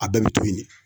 A bɛɛ bɛ to yen de